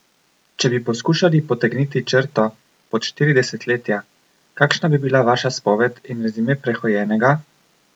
Če bi poskušali potegniti črto pod štiri desetletja, kakšna bi bila vaša spoved in rezime prehojenega?